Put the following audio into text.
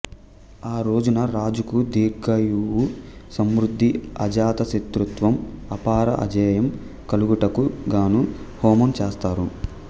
ఆ రోజున రాజుకు దీర్ఘాయువు సమృద్ధి ఆజాత సత్రుత్వం అపార అజేయం కలుగుటకు గాను హోమం చేస్తారు